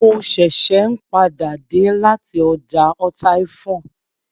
Mo ṣẹ̀ṣẹ̀ n padà dé lati ọjà ọtaifọn